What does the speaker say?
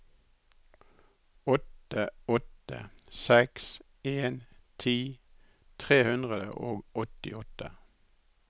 åtte åtte seks en ti tre hundre og åttiåtte